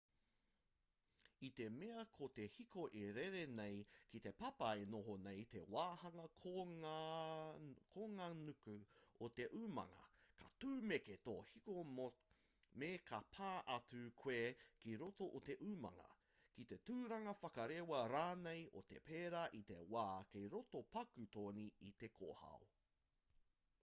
i te mea ko te hiko e rere nei ki te papa e noho nei te wāhanga konganuku o te umanga ka tūmeke tō hiko me ka pā atu koe ki roto o te umanga ki te turanga whakarewa rānei o te pēra i te wā kei roto paku toni i te kōhao